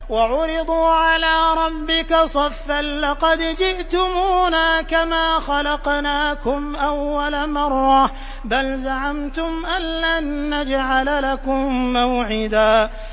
وَعُرِضُوا عَلَىٰ رَبِّكَ صَفًّا لَّقَدْ جِئْتُمُونَا كَمَا خَلَقْنَاكُمْ أَوَّلَ مَرَّةٍ ۚ بَلْ زَعَمْتُمْ أَلَّن نَّجْعَلَ لَكُم مَّوْعِدًا